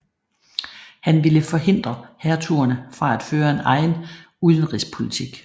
Han ville forhindre hertugerne fra at føre en egen udenrigspolitik